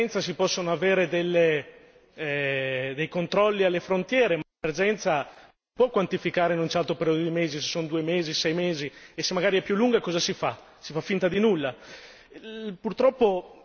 Ho letto che in caso di emergenza si possono avere dei controlli alle frontiere, l'emergenza può quantificare in un certo periodo di mesi, se son due mesi, sei mesi e se magari è più lunga, cosa si fa?